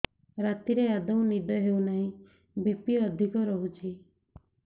ରାତିରେ ଆଦୌ ନିଦ ହେଉ ନାହିଁ ବି.ପି ଅଧିକ ରହୁଛି